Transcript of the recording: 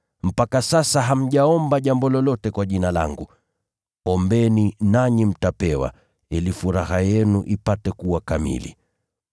Mpaka sasa hamjaomba jambo lolote kwa Jina langu. Ombeni nanyi mtapewa, ili furaha yenu ipate kuwa kamili.